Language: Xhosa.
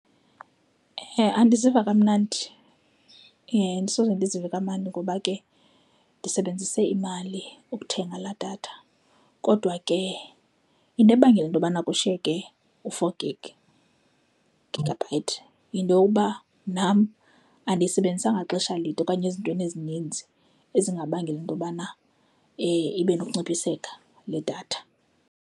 Andiziva kamnandi, andisoze ndizive kamandi ngoba ke ndisebenzise imali ukuthenga laa datha. Kodwa ke into ebangela into yobana kushiyeke u-four gig, gigabyte, yinto yokuba nam andiyisebenzisanga xesha lide okanye ezintweni ezininzi ezingabangela into yobana ibe nokunciphiseka le datha.